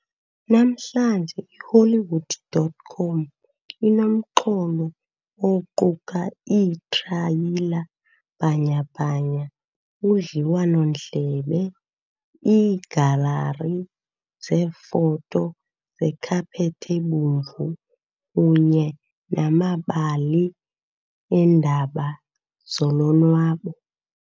Namhlanje, iHollywood.com inomxholo oquka iitrayila bhanyabhanya, udliwano-ndlebe, iigalari zeefoto zekhaphethi ebomvu kunye namabali eendaba zolonwabo.